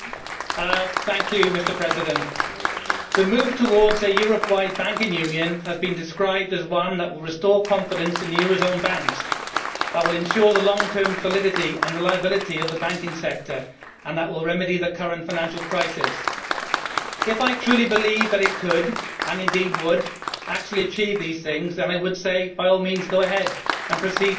Mr President, the move towards a Europe wide banking union has been described as one which will restore confidence in the eurozone banks, ensure the long term validity and reliability of the banking sector and remedy the current financial crisis. If I truly believed that it could, and indeed would, actually achieve these things, I would say by all means, go ahead and proceed towards this Union.